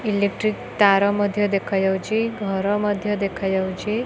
Electric ତାର ମଧ୍ୟ ଦେଖା ଯାଉଛି ଘର ମଧ୍ୟ ଦେଖା ଯାଉଛି।